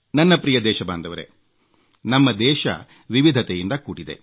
ನನ್ನ ಪ್ರಿಯ ದೇಶಬಾಂಧವರೇ ನಮ್ಮ ದೇಶ ವಿವಿಧತೆಯಿಂದ ಕೂಡಿದೆ